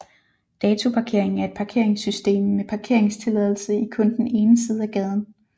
Datoparkering er et parkeringssystem med parkeringstilladelse i kun den ene side af gaden